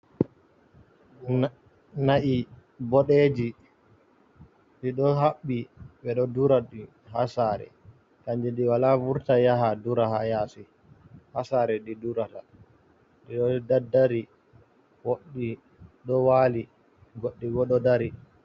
Na'i boɗeji ɗi ɗo haɓɓi ɓe ɗo dura ɗi ha sare kanje ɗi wala vurta yaha dura ha yasi ha sare ɗi ɗurata ɗiɗo da dari woɗɗi ɗo wali goɗɗi bo ɗo dari.